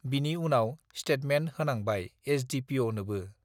बिनि उनाव ष्टेटमेन्ट होनांबाय एसडिपिअ नोबो